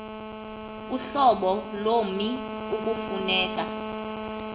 uhlobo lommi ekufuneka